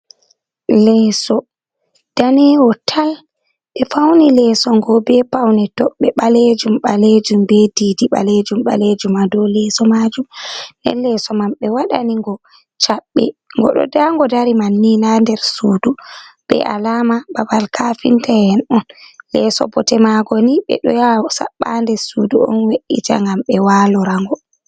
Leeso danewo tal, be fauni leso ngo be paune toɓɓe ɓalejum ɓalejum be ɗiɗi ɓalejum ɓalejum hado leso majum, nde leso man ɓe wadani ngo cabbe go do dango dari man ni na der sudu, be alama babal kafinta’en on, leeso bote mago ni ɓeɗo yaha saɓɓa ha nder sudu on we’’ita ngam ɓe walo rango.